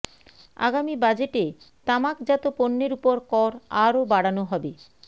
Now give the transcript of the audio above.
আগামী বাজেটে তামাকজাত পণ্যের ওপর কর আরো বাড়ানো হবে